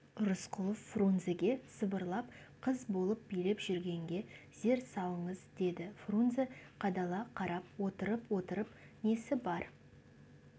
рысқұлов фрунзеге сыбырлап қыз болып билеп жүргенге зер салыңыз деді фрунзе қадала қарап отырып-отырып несі бар